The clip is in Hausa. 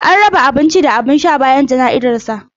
An raba abinci da abin sha bayan jana'izar sa.